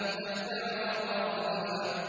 تَتْبَعُهَا الرَّادِفَةُ